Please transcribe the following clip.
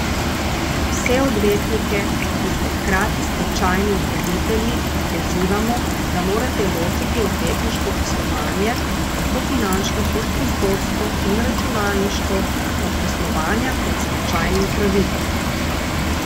Vse odvetnike, ki ste hkrati stečajni upravitelji, pozivamo, da morate ločiti odvetniško poslovanje, tako finančno kot prostorsko in računalniško, od poslovanja kot stečajni upravitelj!